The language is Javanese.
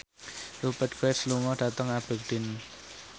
Rupert Graves lunga dhateng Aberdeen